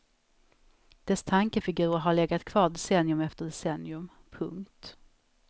Dess tankefigurer har legat kvar decennium efter decennium. punkt